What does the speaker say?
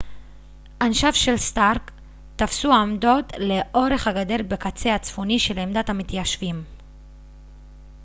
אנשיו של סטארק תפסו עמדות לאורך הגדר בקצה הצפוני של עמדת המתיישבים